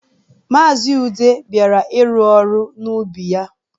Maazi Ude bịara ịrụ ọrụ n'ubi ya.